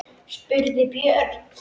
spurði Björn.